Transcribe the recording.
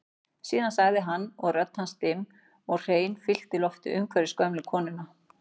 Síðan sagði hann og rödd hans dimm en hrein fyllti loftið umhverfis gömlu konuna